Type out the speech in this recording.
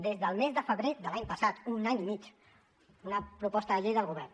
des del mes de febrer de l’any passat un any i mig una proposta de llei del govern